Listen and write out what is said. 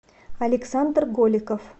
александр голиков